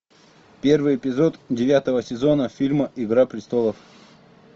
первый эпизод девятого сезона фильма игра престолов